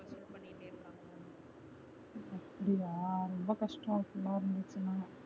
அப்டியா ரொம்ப கஷ்டம் அப்டிலா இருந்துச்சுன்னா